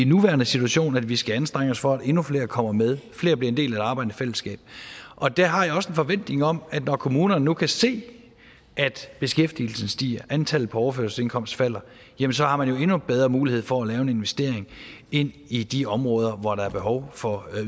nuværende situation at vi skal anstrenge os for at endnu flere kommer med at flere bliver en del af det arbejdende fællesskab og der har jeg også en forventning om at når kommunerne nu kan se at beskæftigelsen stiger at antallet på overførselsindkomst falder så har man jo endnu bedre muligheder for at lave en investering i i de områder hvor der er behov for